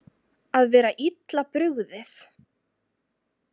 Að vera illa brugðið